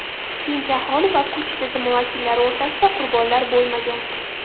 Tinch aholi va kuch tizimi vakillari orasida qurbonlar bo‘lmagan.